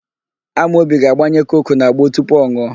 Amobi ga-agbanye koku n'agbo tupu ọ nụọ.